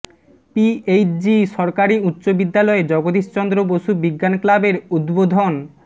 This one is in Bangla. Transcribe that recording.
পিএইচজি সরকারি উচ্চ বিদ্যালয়ে জগদীশ চন্দ্র বসু বিজ্ঞান ক্লাবের উদ্বোধন